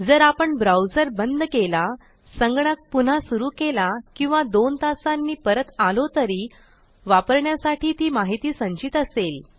जर आपण ब्राऊजर बंद केला संगणक पुन्हा सुरू केला किंवा दोन तासांनी परत आलो तरी वापरण्यासाठी ती माहिती संचित असेल